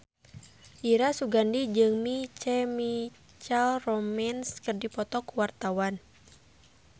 Dira Sugandi jeung My Chemical Romance keur dipoto ku wartawan